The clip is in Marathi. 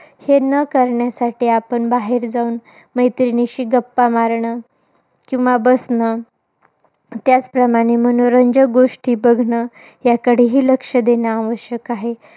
हे न करण्यासाठी आपण बाहेर जाऊन, मैत्रिणीशी गप्पा मारणं. किंवा बसणं त्याचप्रमाणे मनोरंजक गोष्टी बघणं, याकडेही लक्ष देणं आवश्यक आहे.